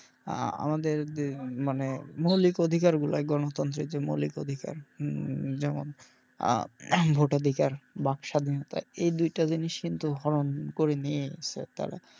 আহ আমাদের যে মানে মৌলিক অধিকার গুলো গনতান্ত্রের যে মৌলিক অধিকার যেমন আহ ভোত অধিকার ব্যাগ স্বাধীনতা এই দুইটা জিনিস কিন্তু রহন করে নিয়েছে তারা।